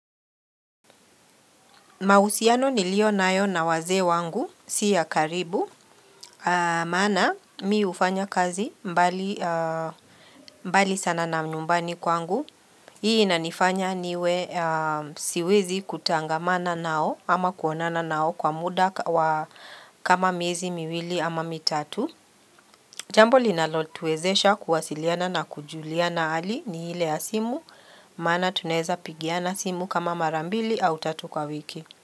Mahusiano nilio nayo na wazee wangu, siya karibu, maana mi ufanya kazi mbali mbali sana na nyumbani kwangu. Hii inanifanya niwe siwezi kutangamana nao ama kuonana nao kwa muda wa kama miezi miwili ama mitatu. Jambo linalotuwezesha kuwasiliana na kujuliana ali ni ile ya simu, maana tuneza pigiana simu kama marambili au tatu kwa wiki.